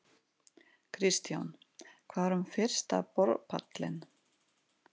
Kristján: Hvað um fyrsta borpallinn?